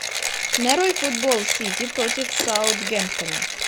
нарой футбол сити против саутгемптона